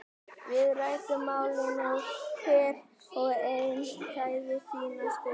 Við ræddum málin og hver og einn sagði sína skoðun.